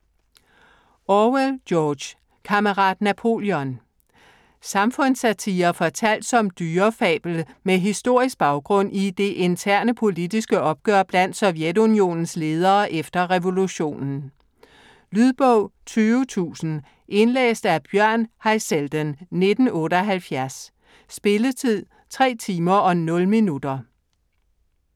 Orwell, George: Kammerat Napoleon Samfundssatire fortalt som dyrefabel med historisk baggrund i det interne politiske opgør blandt Sovjetunionens ledere efter revolutionen. Lydbog 20000 Indlæst af Bjørn Haizelden, 1978. Spilletid: 3 timer, 0 minutter.